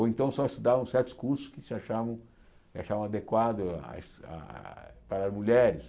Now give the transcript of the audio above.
Ou então só estudavam certos cursos que se achavam achavam adequados as ah para as mulheres.